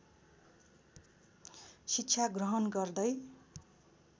शिक्षा ग्रहण गर्दै